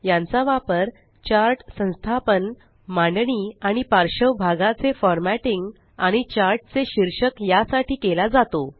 यांचा वापर चार्ट संस्थापन मांडणी आणि पार्श्व भागाचे फॉरमॅटिंग आणि चार्ट चे शीर्षक यासाठी केला जातो